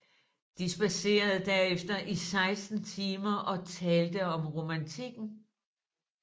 De spadserede derefter i 16 timer og talte om romantikken